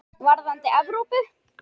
Varðandi Evrópu?